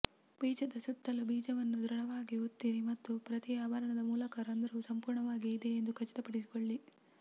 ಬೀಜದ ಸುತ್ತಲೂ ಬೀಜವನ್ನು ದೃಢವಾಗಿ ಒತ್ತಿರಿ ಮತ್ತು ಪ್ರತಿ ಆಭರಣದ ಮೂಲಕ ರಂಧ್ರವು ಸಂಪೂರ್ಣವಾಗಿ ಇದೆ ಎಂದು ಖಚಿತಪಡಿಸಿಕೊಳ್ಳಿ